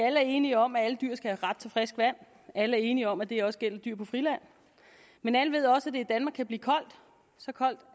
alle er enige om at alle dyr skal have ret til frisk vand alle er enige om at det også gælder dyr på friland men alle ved også at det i danmark kan blive koldt så koldt